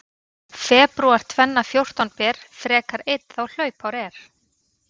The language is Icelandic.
Febrúar tvenna fjórtán ber frekar einn þá hlaupár er.